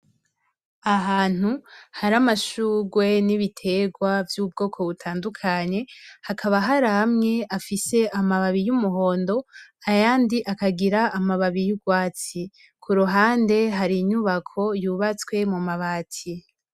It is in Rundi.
Ahantu hari amashugwe n'ibitegwa vy'ubwoko butandukanye. Hakaba haramwe afise amababi, y'umuhondo ayandi akagira amababi y'ugwatsi. Kuruhande harinyubako yubatswe n'amabati.